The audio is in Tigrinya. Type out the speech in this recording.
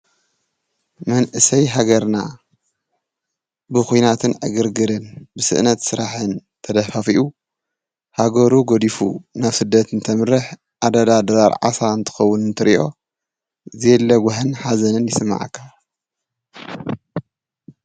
መንእሰይ ሃገርና ብኾይናትን ኣግርግርን ብስእነት ሥራሕን ተደፋፊኡ ሃገሩ ጐዲፉ ናፍ ስደትን ተምርኅ ኣዳዳ ደራር ዓሣ እንትኸውን እንትርዮ ዘለጐህን ኃዘንን ይስማዐካ።